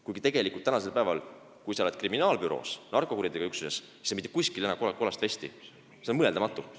Kuigi tegelikult, kui sa praegu töötad kriminaalbüroos või narkokuritegude üksuses, siis mitte kuskil ei kanna sa kollast vesti, see on mõeldamatu.